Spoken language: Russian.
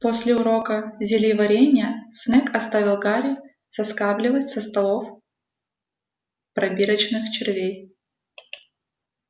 после урока зельеварения снегг оставил гарри соскабливать со столов пробирочных червей